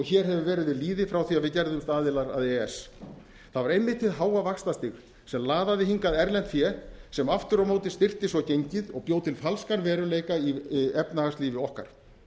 hér hefur verið lýði frá því að við gerðumst aðilar að e e s það var einmitt hið háa vaxtastig sem laðaði hingað erlent fé sem aftur á móti styrkti svo gengið og bjó til falskan veruleika í efnahagslífi okkar